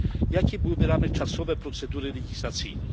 Jakie byłyby ramy czasowe procedury legislacyjnej?